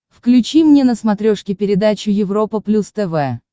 включи мне на смотрешке передачу европа плюс тв